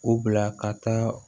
U bila ka taa